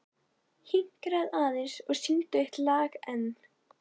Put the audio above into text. Hinkraðu aðeins og syngdu eitt lag enn.